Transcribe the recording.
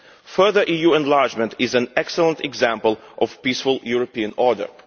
Further EU enlargement is an excellent example of peaceful European order.